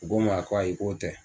U ko n ma ko ayi k'o tɛ